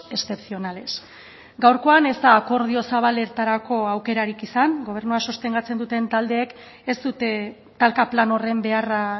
excepcionales gaurkoan ez da akordio zabaletarako aukerarik izan gobernua sostengatzen duten taldeek ez dute talka plan horren beharra